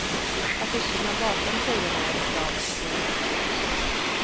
Affischerna bakom tjejerna är reklam för programmet.